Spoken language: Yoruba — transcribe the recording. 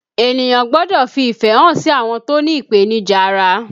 Ènìyàn gbọ́dọ̀ fi ìfẹ́ hàn sí àwọn tó ní ipenija ara